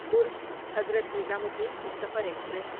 Durg Hazrat Nizamuddin Humsafar express